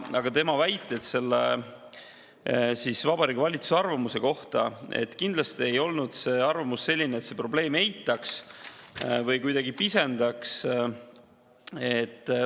Need tema väited Vabariigi Valitsuse arvamuse kohta – kindlasti ei olnud see arvamus selline, et probleeme eitatakse või kuidagi pisendatakse.